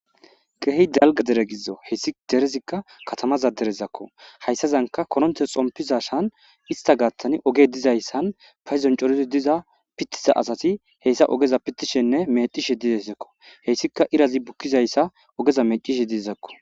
Keehi dalgga dere gidzo heyssi derezikka katamaza derezakko hayssazanka koronte xompizasan ista gaathani ogey dizayssan paydzon coridzi diza pittiza asati heyssa ogeza pittishenne meccishe dizayssakko heyssika irazi bukkizayssa ogeza meccishe dizakko.